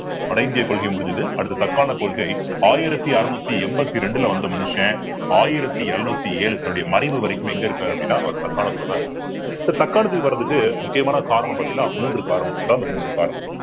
வட இந்திய கொள்கை முடிஞ்சது அடுத்து தக்காண கொள்கை ஆயிரத்தி அறுநூத்தி எண்பத்தி ரெண்டுல வந்த மனுஷன் ஆயிரத்தி எழுநூத்தி ஏழு தன்னுடைய மறைவு வரைக்கும் எங்க இருக்காரு அப்படின்னா அவர் தக்காணத்துலதான் இருக்காரு so தக்காணத்துக்கு வர்றதுக்கு முக்கியமான காரணம் பார்த்தீங்கன்னா மூன்று காரணம் மூன்று காரணம்